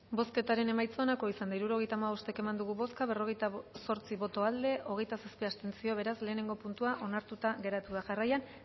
bozketaren emaitza onako izan da hirurogeita hamabost eman dugu bozka berrogeita zortzi boto aldekoa hogeita zazpi abstentzio beraz lehenengo puntua onartuta geratu da jarraian